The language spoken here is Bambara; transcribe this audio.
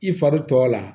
I fari tɔ la